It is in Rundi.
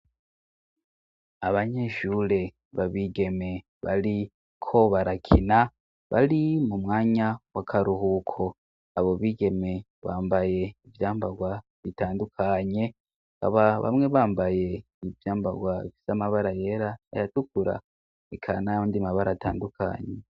Abanyeshure babigeme bari kobarakina bari mu mwanya wa karuhuko abo bigeme bambaye ivyambarwa bitandukanye baba bamwe bambaye ivyambarwa viso amabara yera aratukura ekanaybo ndi mabara atandukanye.